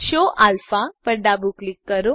show alpha પર ડાબું click કરો